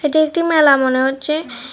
এটা একটি মেলা মনে হচ্ছে।